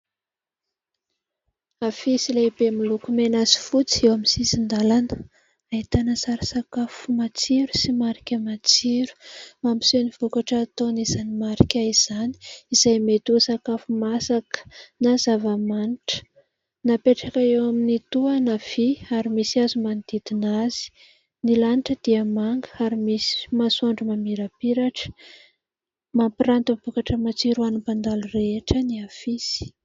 Afisy lehibe miloko mena sy fotsy eo amin'ny sisin-dalana. Ahitana sary sakafo matsiro sy marika matsiro. Mampiseho ny vokatra ataon'izany marika izany, izay mety ho sakafo masaka na zava-manitra. Napetraka eo amin'ny tohana vỳ misy hazo manodidina azy. Ny lanitra dia manga ary misy masoandro mamirapiratra. Mampiranty ny vokatra matsiro ho an'ny mpandalo rehetra ny afisy.